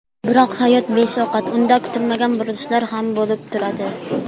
Biroq hayot beshafqat, unda kutilmagan burilishlar ham bo‘lib turadi.